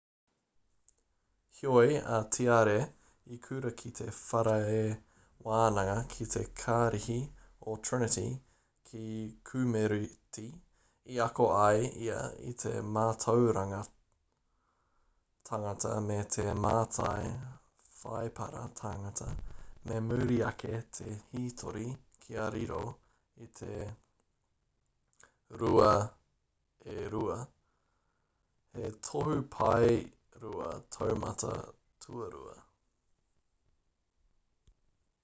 heoi a tiare i kura ki te whare wānanga ki te kārihi o trinity ki kemureti i ako ai ia i te mātauranga tangata me te mātai whaipara tangata me muri ake te hītori kia riro i te 2:2 he tohu pae rua taumata tuarua